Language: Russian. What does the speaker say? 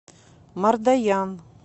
мардоян